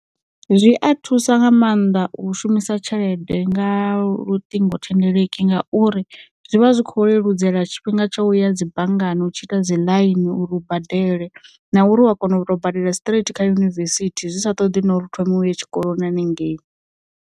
Zwi a thusa nga mannḓa u shumisa tshelede nga luṱing thendeleki ngauri zwi vha zwi kho leludzela tshifhinga tsha u ya dzi banngani u tshi ita dzi ḽaini uri u badele, na uri u a kona u tou badela straight kha yunivesithi zwi sa ṱoḓi na uri hu thome uye tshikoloni hanengei.